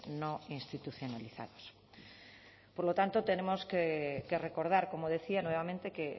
no institucionalizados por lo tanto tenemos que recordar como decía nuevamente que